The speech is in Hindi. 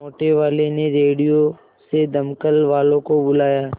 मोटेवाले ने रेडियो से दमकल वालों को बुलाया